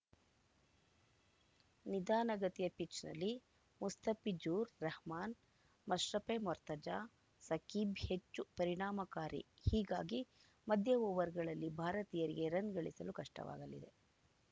ನಿಧಾನಗತಿಯ ಪಿಚ್‌ನಲ್ಲಿ ಮುಸ್ತಫಿಜುರ್‌ ರಹಮಾನ್‌ ಮಶ್ರಫೆ ಮೊರ್ತಜಾ ಸಕೀಬ್‌ ಹೆಚ್ಚು ಪರಿಣಾಮಕಾರಿ ಹೀಗಾಗಿ ಮಧ್ಯ ಓವರ್‌ಗಳಲ್ಲಿ ಭಾರತೀಯರಿಗೆ ರನ್‌ ಗಳಿಸಲು ಕಷ್ಟವಾಗಲಿದೆ